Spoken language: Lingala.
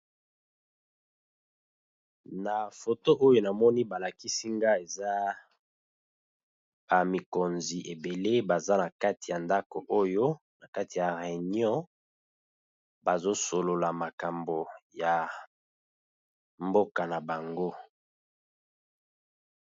Na foto oyo na moni ba lakisi nga eza ba mikonzi ebele baza na kati ya ndako oyo na kati ya reunion, bazo solola makambo ya mboka na bango.